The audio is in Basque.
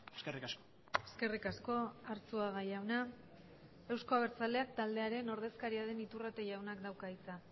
eskerrik asko eskerrik asko arzuaga jauna euzko abertzaleak taldearen ordezkaria den iturrate jaunak dauka hitza